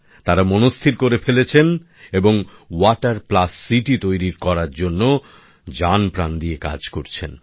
তারা মনস্থির করে ফেলেছেন এবং ওয়াটার প্লাস সিটি তৈরি করার জন্য জানপ্রাণ দিয়ে কাজ করছেন